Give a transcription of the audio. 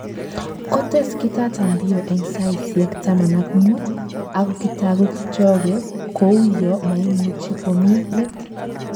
Kotes Kitata Mbio eng saisyek taman ak muut ako kitagu kipchoge kouyo maimuchi komi let